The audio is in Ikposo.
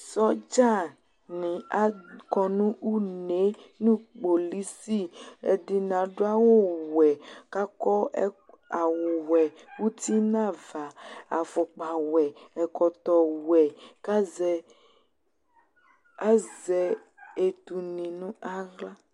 Sɔdzanɩ akɔ nʋ une yɛ nʋ kpolisi Ɛdɩnɩ adʋ awʋwɛ kʋ akɔ ɛk awʋwɛ uti nʋ ava, afʋkpawɛ, ɛkɔtɔwɛ kʋ azɛ, azɛ etunɩ nʋ aɣla